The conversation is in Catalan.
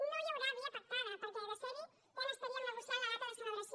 no hi haurà via pactada perquè de ser hi ja n’estaríem negociant la data de celebració